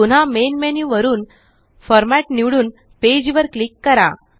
पुन्हा main menu वरून format निवडून पेज वर क्लिक करा